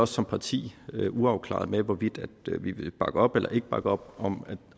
som parti uafklarede med hvorvidt vi vil bakke op eller ikke bakke op om